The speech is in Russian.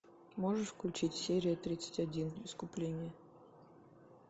можешь включить серия тридцать один искупление